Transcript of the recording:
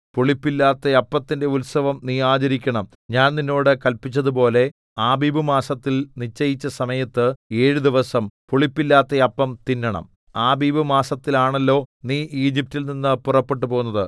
പുളിപ്പില്ലാത്ത അപ്പത്തിന്റെ ഉത്സവം നീ ആചരിക്കണം ഞാൻ നിന്നോട് കല്പിച്ചതുപോലെ ആബീബ് മാസത്തിൽ നിശ്ചയിച്ച സമയത്ത് ഏഴ് ദിവസം പുളിപ്പില്ലാത്ത അപ്പം തിന്നണം ആബീബ് മാസത്തിലാണല്ലോ നീ ഈജിപ്റ്റിൽ നിന്ന് പുറപ്പെട്ടുപോന്നത്